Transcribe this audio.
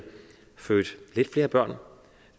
født flere børn